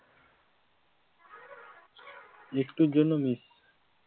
একটুর জন্য miss